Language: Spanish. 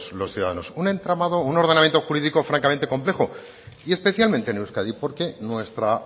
los ciudadanos un entramado un ordenamiento jurídico francamente complejo y especialmente en euskadi porque nuestra